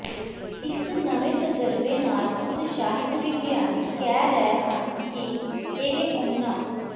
ਇਸ ਨਵੇਂ ਤਜਰਬੇ ਨਾਲ ਉਤਸ਼ਾਹਿਤ ਵਿਗਿਆਨੀ ਕਹਿ ਰਹਿ ਹਨ ਕਿ ਇਹ ਉਹਨਾਂ